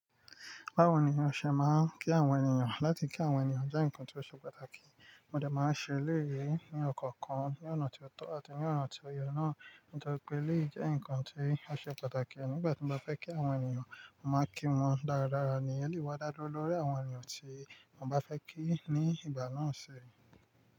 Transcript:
Báwo ni ó ṣe máa ń kí àwọn ènìyàn? Láti kí àwọn ènìyàn jẹ́ nǹkan tí ó ṣe pàtàkì, mo dà máa ń ṣe eléyii ní ọ̀kọ̀ọ̀kan ní ọ̀nà tí ó tọ́ àti ní ọ̀nà tí o yọ náà. Nítorí pé eléyii jẹ́ nǹkan tí a ṣe pàtàkì nígbà tí mo bá fẹ́ kí àwọn ènìyàn, mo máa kí wọn dáradára ni ẹ́leyii wá dá lórí àwọn ènìyàn tí mo bá fẹ́ kí ní ìgbà náà ṣe.